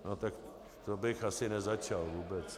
No tak to bych asi nezačal vůbec.